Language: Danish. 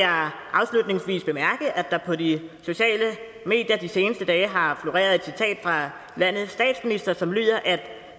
afslutningsvis bemærke at der på de sociale medier de seneste dage har floreret et citat fra landets statsminister som lyder at